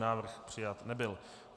Návrh přijat nebyl.